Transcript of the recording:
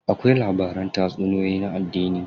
Akwai labaran tatsuniyoyin na addini.